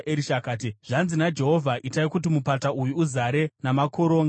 akati, “Zvanzi naJehovha: Itai kuti mupata uyu uzare namakoronga.